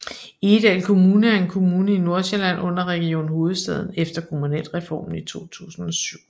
Egedal Kommune er en kommune i Nordsjælland under Region Hovedstaden efter Kommunalreformen i 2007